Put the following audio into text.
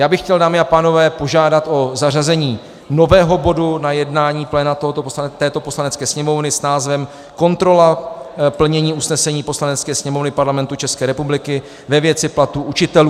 Já bych chtěl, dámy a pánové, požádat o zařazení nového bodu na jednání pléna této Poslanecké sněmovny s názvem Kontrola plnění usnesení Poslanecké sněmovny Parlamentu České republiky ve věci platů učitelů.